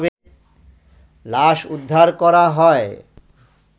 লাশ উদ্ধার করা হয